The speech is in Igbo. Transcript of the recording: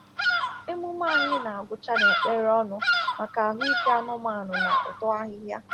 Emume anyị na-agwụcha na ekpere ọnụ maka ahụike anụmanụ na uto ahịhịa.